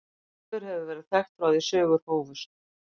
Silfur hefur verið þekkt frá því sögur hófust.